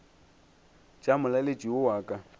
tša molaletši yo wa ka